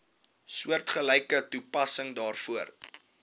soortgelyke toepassing daarvoor